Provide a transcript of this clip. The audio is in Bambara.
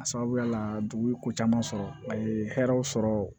A sababuya la dugu ye ko caman sɔrɔ a ye hɛrɛw sɔrɔ